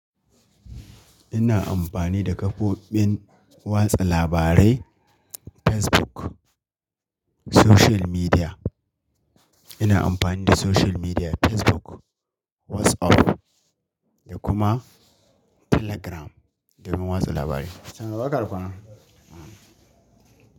Ina amfani da kafofin watsa labarai Facebook, social media. Ina amfani da social media Facebook, WhatsApp da kuma Telegram domin watsa labarai. Sannu barka da kwana.